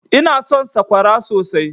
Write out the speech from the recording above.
Ina son sakwara sosai.